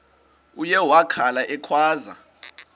uye wakhala ekhwaza